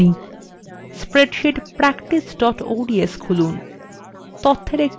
spreadsheet practice ods খুলুন